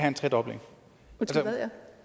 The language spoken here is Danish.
en tredobling